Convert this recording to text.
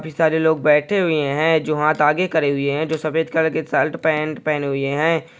काफी सारे लोग बैठे हुए है जो हाथ आगे करे हुए है सफेद कलर की शर्ट पेन्ट पहने हुए है।